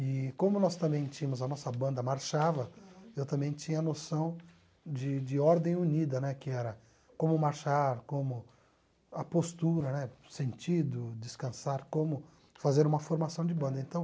E como nós também tínhamos, a nossa banda marchava, eu também tinha noção de de ordem unida né, que era como marchar, como a postura né, o sentido, descansar, como fazer uma formação de banda então